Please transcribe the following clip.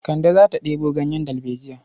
Kande za ta ɗebo ganyen dalbejiya.